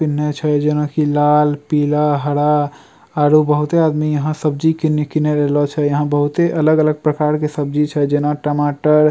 पिन्हे छे जेना की लाल पीला हरा आरु बहुते आदमी यहाँ सब्जी किन किने र ऐलो छे यहाँ बहुते अलग-अलग प्रकार के सब्जी छे जेना टमाटर --